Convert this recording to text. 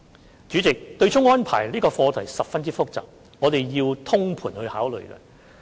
代理主席，對沖安排這課題十分複雜，我們必須作通盤考慮。